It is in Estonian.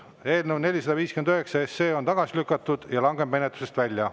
Eelnõu 459 on tagasi lükatud ja langeb menetlusest välja.